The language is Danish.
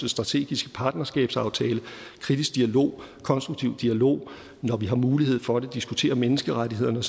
strategiske partnerskabsaftale kritisk dialog konstruktiv dialog når vi har mulighed for det diskutere menneskerettighederne